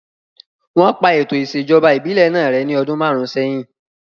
Wọ́n pa ètò ìṣèjọba ìbílẹ̀ náà rẹ́ ní ọdún márùn sẹ́yìn